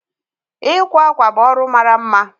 Ịkwa akwa bụ ọrụ mara mma